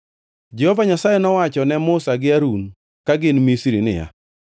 Jehova Nyasaye nowacho ne Musa gi Harun ka gin Misri niya,